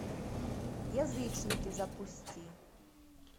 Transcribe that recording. язычники запусти